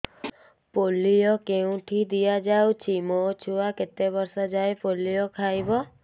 polio କେଉଁଠି ଦିଆଯାଉଛି ମୋ ଛୁଆ କେତେ ବର୍ଷ ଯାଏଁ ପୋଲିଓ ଖାଇବ